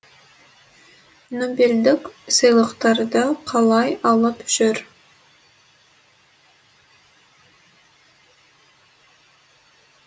нобельдік сыйлықтарды қалай алып жүр